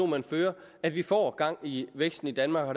man fører at vi får gang i væksten i danmark og